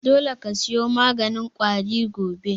Dole ka siyo maganin ƙwari gobe!